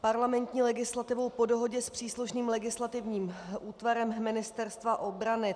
... parlamentní legislativou po dohodě s příslušným legislativním útvarem Ministerstva obrany.